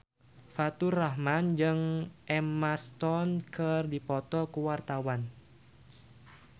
Faturrahman jeung Emma Stone keur dipoto ku wartawan